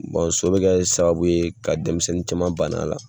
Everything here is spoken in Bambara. so bɛ ka sababu ye ka denmisɛnnin caman ban'a la.